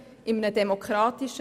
Einverstanden?